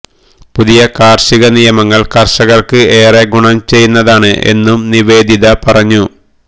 പുതിയ കാര്ഷിക നിയമങ്ങള് കര്ഷകര്ക്ക് ഏറെ ഗുണം ചെയ്യുന്നതാണ് എന്നും നിവേദിത പറഞ്ഞു